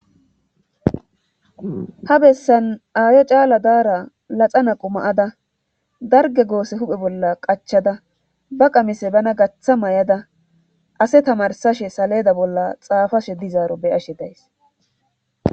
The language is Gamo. ha bessan aayo caala daara laxana quma7ada darge goose huphe bolla qachada ba qamise bana gaththa may7ada ase tamarsashe saleeda bolla xaafashe dizaaro beyashe days